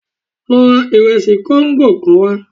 Lọ ra ìresì kóńgò kan wá